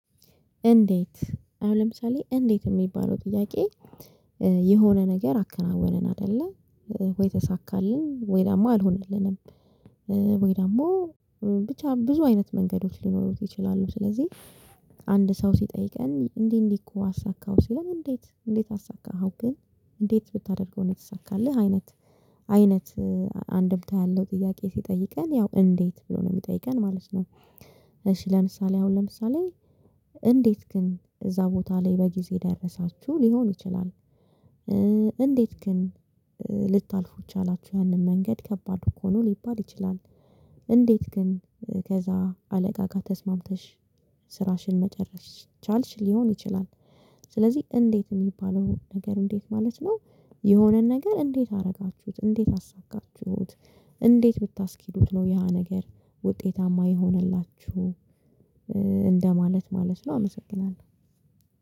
እንዴት? አሁን ለምሳሌ እንዴት የሚባለው ጥያቄ የሆነ ነገር አከናወንን አይደለ ወይም ተሳካልን ወይም ደግሞ አልሆነልንም? ወይ ደግሞ ብቻ ብዙ አይነት መንገዶች ሊኖሩት ይችላሉ። ስለዚህ አንድ ሰው ሲጠይቀን እንዲህ እንዲህ እኮ አሳካሁ ሲለን እንዴት እንዴት አሳካኸው ግን እንዴት ብታደርገው ነው የተሳካልህ? አይነት አይነት አንድምታ ያለው ጥያቄ ሲጠይቀን ያው እንዴት ብሎ ነው የሚጠይቀን ማለት ነው። እሺ ለምሳሌ አሁን ለምሳሌ እንዴት ግን እዛ ቦታ ላይ በጊዜ ደረሳችሁ ሊሆን ይችላል? እንዴት ግን ልታልፉ ቻላችሁ ያንን መንገድ ከባድ እኮ ነው ሊባል ይችላል? እንዴት ግን ከዛ አለቃ ጋር ተስማምተሽ ስራሽን መጨረስ ስለቻልሽ ሊሆን ይችላል? ስለዚህ እንዴት የሚባለው ነገር እንዴት ማለት ነው። የሆነን ነገር እንዴት አደረጋችሁት እንዴት አሳካችሁት? እንዴት ብታስኬዱት ነው ያ ነገር ውጤታማ የሆነላችሁ እንደማለት ማለት ነው። አመሰግናለሁ